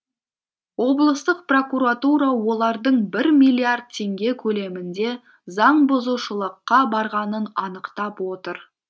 облыстық прокуратура олардың бір миллиард теңге көлемінде заңбұзушылыққа барғанын анықтап отыр